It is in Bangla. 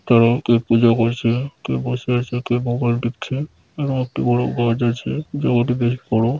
তারাও কেউ পুজো করছে | কেউ বসে আছে কে মোবাইল টিপছে | এবং একটি বড় গাছ আছে জায়গাটি বেশ বড়ো ।